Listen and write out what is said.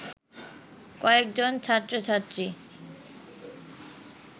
কয়েকজন ছাত্র-ছাত্রী